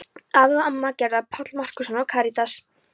Afi og amma Gerðar, Páll Markússon og Karítas